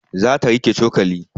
Za ta riƙe cokali